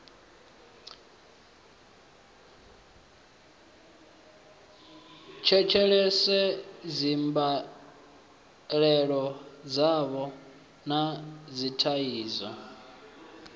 tshetshelese dzimbilaelo dzavho na dzithaidzo